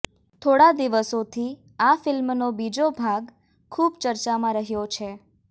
થોડા દિવસોથી આ ફિલ્મનો બીજો ભાગ ખુબ ચર્ચામાં રહ્યો છે